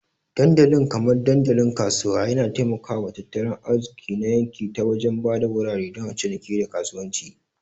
Dandali kamar dandalin kasuwa yana taimaka wa tattalin arziki na yanki ta wajen ba da wurare don ciniki, da kasuwanci.